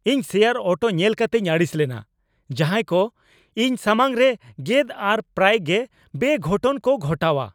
ᱤᱧ ᱥᱮᱭᱟᱨ ᱚᱴᱚ ᱧᱮᱞ ᱠᱟᱛᱮᱧ ᱟᱹᱲᱤᱥ ᱞᱮᱱᱟ ᱡᱟᱦᱟᱭ ᱠᱚ ᱤᱧ ᱥᱟᱢᱟᱝ ᱨᱮ ᱜᱮᱫ ᱟᱨ ᱯᱨᱟᱭ ᱜᱮ ᱵᱮᱼᱜᱷᱚᱴᱚᱱ ᱠᱚ ᱜᱷᱚᱴᱟᱣᱟ ᱾